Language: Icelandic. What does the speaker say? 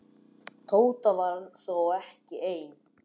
Tóta var þó ekki ein.